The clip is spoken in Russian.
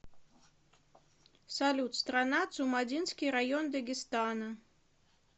салют страна цумадинский район дагестана